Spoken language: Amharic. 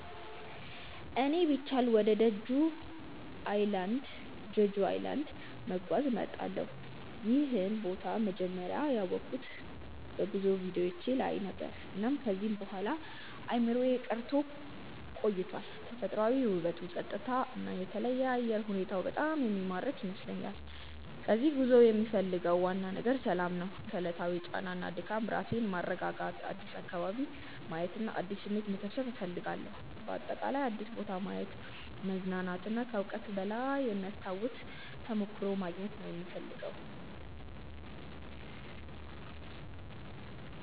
እኔ ቢቻል ወደ ጀጁ ኣይላንድ(Jeju Island) መጓዝ እመርጣለሁ። ይህን ቦታ መጀመሪያ ያወቅሁት በጉዞ ቪዲዮዎች ነበር፣ እና ከዚያ በኋላ በአእምሮዬ ቀርቶ ቆይቷል። ተፈጥሯዊ ውበቱ፣ ጸጥታው እና የተለየ አየር ሁኔታው በጣም የሚማርክ ይመስለኛል። ከዚህ ጉዞ የምፈልገው ዋናው ነገር ሰላም ነው። ከዕለታዊ ጫና እና ድካም ራሴን ማስረጋጋት፣ አዲስ አካባቢ ማየት እና አዲስ ስሜት መሰብሰብ እፈልጋለሁ። በአጠቃላይ አዲስ ቦታ ማየት፣ መዝናናት እና ከዕውቀት በላይ የሚያስታውስ ተሞክሮ ማግኘት ነው የምፈልገው።